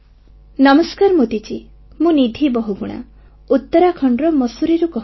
ନମସ୍କାର ମୋଦୀ ମହାଶୟ ମୁଁ ନିଧି ବହୁଗୁଣା ଉତ୍ତରାଖଣ୍ଡର ମସୁରୀରୁ କହୁଛି